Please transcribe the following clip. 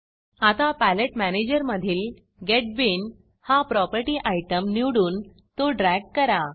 आता पॅलेट मॅनेजरमधील get bean हा प्रॉपर्टी आयटम निवडून तो ड्रॅग करा